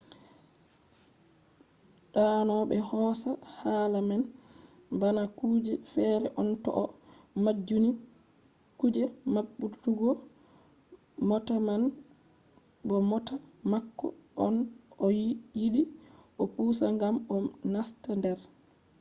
dano be hosa hala man bana kuje fere on to o majjinni kuje mabbutuggo mota man bo mota mako on o yidi o pusa gam o nasta der